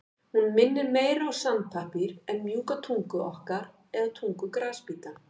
Hún minnir meira á sandpappír en mjúka tungu okkar eða tungu grasbíta.